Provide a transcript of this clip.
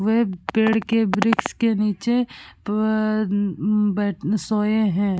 वे पेड़ के वृक्ष के नीचे प अ बै सोये है।